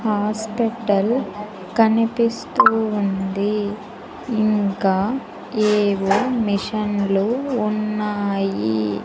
Hospital కనిపిస్తూ ఉంది ఇంకా ఏవో మిషన్లు ఉన్నాయి.